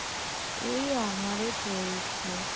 এই আমারও চলছে